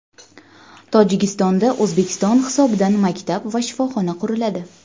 Tojikistonda O‘zbekiston hisobidan maktab va shifoxona quriladi.